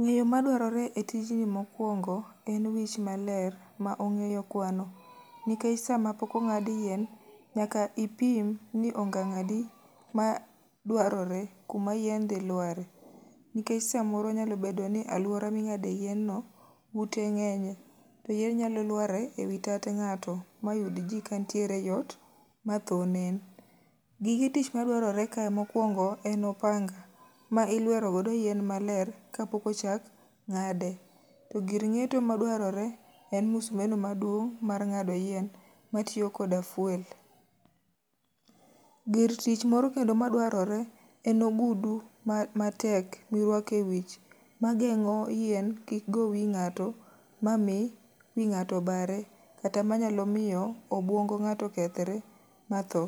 Ng'eyo madwarore e tijni mokwongo en wich maler ma ong'eyo kwano. Nikech sama pok ong'ad yien, nyaka ipim ni ongang' adi ma dwarore kuma yien dhi lware. Nikech samoro nyalo bedo ni alwora ming'ade yien no ute ng'enye. To yien nyalo lware e wi tat ng'ato, ma yud ji ka ntiere ei ot ma tho nen. Gige tich madwarore ka mokwongo en opanga, ma ilwero go yien maler ka pokochak ng'ade. To gir ng'eto madwarore en musmeno maduong' mar ng'ado yien, matiyo koda fuel. Gir tich moro kendo ma dwarore en ogudu ma tek mirwake wich, ma geng'o yien kik go wi ng'ato. Ma mi wi ng'ato bare, kata manyalo miyo obwongo ng'ato kethre ma tho,